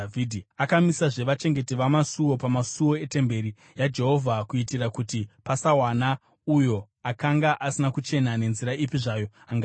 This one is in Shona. Akamisazve vachengeti vamasuo pamasuo etemberi yaJehovha kuitira kuti pasawana uyo akanga asina kuchena nenzira ipi zvayo angapinda.